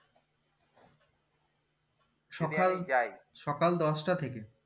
যায় সকাল দশটা থেকে